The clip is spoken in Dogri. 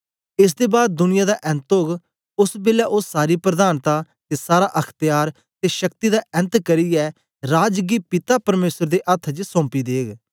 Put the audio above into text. एस दे बाद दुनिया दा ऐन्त ओग ओस बेलै ओ सारी प्रधानता ते सारा अख्त्यार ते शक्ति दा ऐन्त करियै राज गी पिता परमेसर दे अथ्थ च सौंपी देग